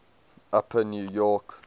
upper new york